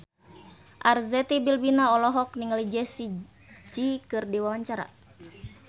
Arzetti Bilbina olohok ningali Jessie J keur diwawancara